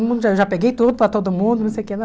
Mundo já já peguei tudo para todo mundo, não sei o que lá.